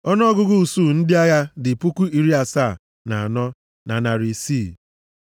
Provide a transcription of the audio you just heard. Ọnụọgụgụ usuu ndị agha ya dị puku iri asaa na anọ, na narị isii (74,600)